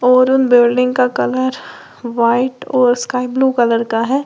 और उन बिल्डिंग का कलर व्हाइट और स्काई ब्लू कलर का है।